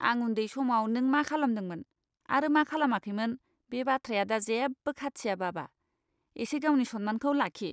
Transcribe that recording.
आं उन्दै समाव नों मा खालामदोंमोन आरो मा खालामाखैमोन बे बाथ्राया दा जेबो खाथिया, बाबा। एसे गावनि सन्मानखौ लाखि!